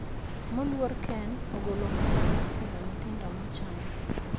Moluor ken ogolo omenda mar siro nyithindo mochany